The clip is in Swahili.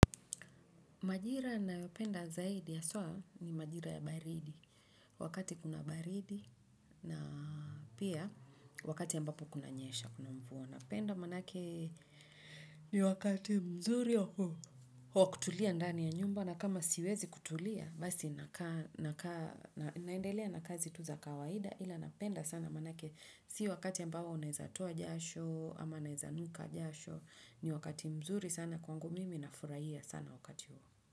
Majira yanayopenda zaidi hasaa, ni majira ya baridi. Wakati kuna baridi na pia, wakati ambapo kunanyesha, kuna mvua. Napenda manake, ni wakati mzuri ya huo wa kutulia ndani ya nyumba. Na kama siwezi kutulia, basi naendelea na kazi tu za kawaida. Ila napenda sana manake, si wakati ambao unaezatoa jasho, ama naezanuka jasho. Ni wakati mzuri sana kwangu mimi nafurahia sana wakati huo.